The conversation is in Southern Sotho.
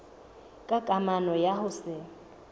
ka kamano ya ho se